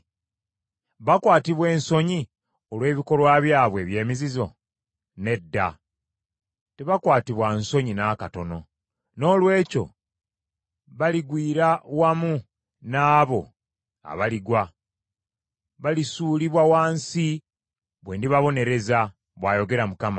Bakwatibwa ensonyi olw’ebikolwa byabwe eby’emizizo? Nedda. Tebakwatibwa nsonyi n’akatono. Noolwekyo baligwira wamu n’abo abaligwa; balisuulibwa wansi bwe ndibabonereza,” bw’ayogera Mukama .